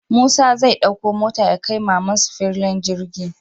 Musa zai ɗakko mota yakai mamansu fillin girgi